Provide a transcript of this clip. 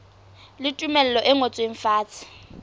le tumello e ngotsweng fatshe